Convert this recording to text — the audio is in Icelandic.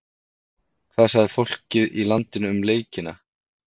Hvað sagði fólkið í landinu um leikina?